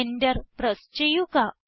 Enter press ചെയ്യുക